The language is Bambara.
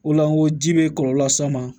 O la n ko ji bɛ kɔlɔlɔ las'a ma